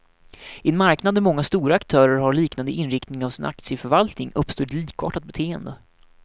I en marknad där många stora aktörer har liknande inriktning av sin aktieförvaltning, uppstår ett likartat beteende.